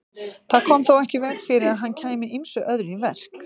Það kom þó ekki í veg fyrir að hann kæmi ýmsu öðru í verk.